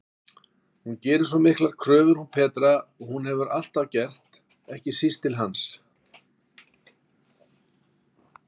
Hún gerir svo miklar kröfur hún Petra, og hefur alltaf gert, ekki síst til hans.